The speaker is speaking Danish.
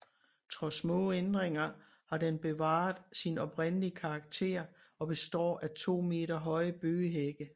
Trods små ændringer har den bevaret sin oprindelige karakter og består af 2 meter høje bøgehække